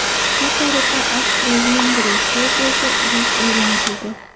Shu tariqa Avstriya-Vengriya Serbiyaga urush e’lon qildi.